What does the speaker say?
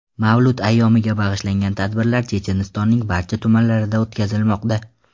Mavlud ayyomiga bag‘ishlangan tadbirlar Chechenistonning barcha tumanlarida o‘tkazilmoqda.